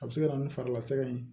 A bɛ se ka na ni fari lasiga ye